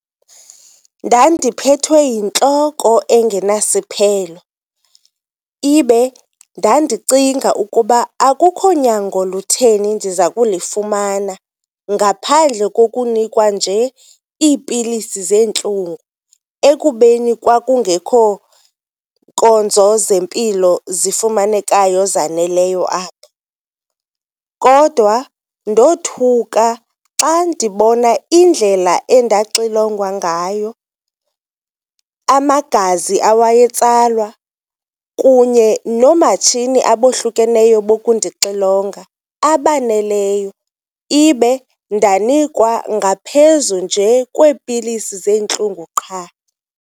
Ndandiphethwe yintloko engenasiphelo ibe ndandicinga ukuba akukho nyango lutheni ndiza kulifumana ngaphandle kokunikwa nje iipilisi zeentlungu ekubeni kwakungekho nkonzo zempilo zifumanekayo zaneleyo apho. Kodwa ndothuka xa ndibona indlela endaxilongwa ngayo, amagazi awayetsalwa kunye noomatshini abohlukeneyo bokundixilonga abaneleyo. Ibe ndanikwa ngaphezu njee kweepilisi zeentlungu qha.